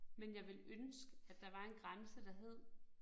Men jeg ville ønske, at der var en grænse, der hed